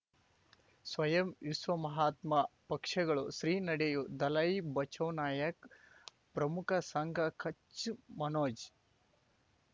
ಸ್ವಯಂ ವಿಶ್ವ ಮಹಾತ್ಮ ಪಕ್ಷಗಳು ಶ್ರೀ ನಡೆಯೂ ದಲೈ ಬಚೌ ನಾಯಕ್ ಪ್ರಮುಖ ಸಂಘ ಕಚ್ ಮನೋಜ್